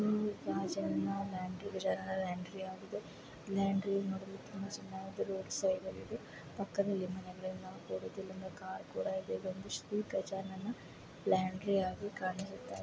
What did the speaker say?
ಇದು ಒಂದು ಶ್ರೀ ಗಜಾನನ ಲಾಂಡ್ರಿ ಆಗಿದೆ ಲಾಂಡ್ರಿ ಮಾಡಲು ಇದೆ ಇದು ಒಂದು ಶ್ರೀ ಗಜಾನನ ಲಾಂಡ್ರಿ ಆಗಿ --